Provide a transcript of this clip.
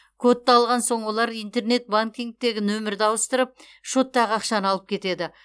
кодты алған соң олар интернет банкингтегі нөмірді ауыстырып шоттағы ақшаны алып кетеді